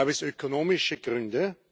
Gab es ökonomische Gründe?